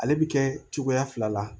Ale bi kɛ cogoya fila la